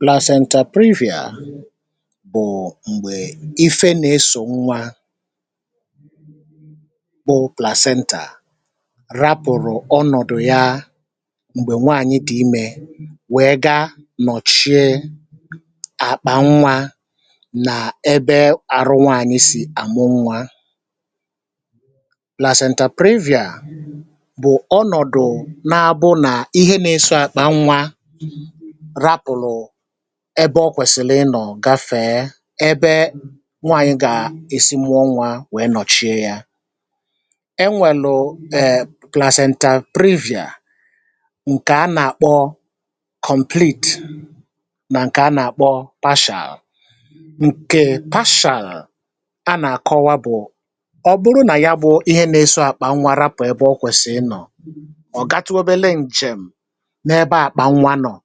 plans and torism prairie à bụ̀ m̀gbè ife na-isọ̀ nwa bụ placida rapụ̀rụ̀ ọnọ̀dụ̀ ya m̀gbè nwaànyị tì imė wèe gaa nọchie àkpà nwa nà ebe àrụ nwaànyị sì àmụ nwa um laasentà prairie à bụ̀ ọnọ̀dụ̀ na-abụ nà ihe na-eso àkpà nwa ebe ọ kwèsìlì ịnọ̀ um gafèe ebe nwaànyị gà-èsi mmụọ nwȧ wèe nọchie yȧ enwèlù ee plazenti prairieà ǹkè a nà-àkpọcomputì nà ǹkè a nà-àkpọpashal ǹkè pashàal a nà-àkọwa bụ̀ ọ bụrụ nà ya bụ ihe nȧ-esȯ àkpà nwa rapụ̀ ebe ọ kwèsìrì ịnọ̀ um ọ̀ gatuberela ǹjem̀ n’ebe àkpà nwa nọ̀